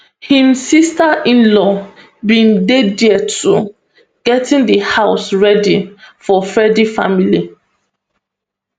im sisterinlaw bin dey dia too getting di house ready for freddy family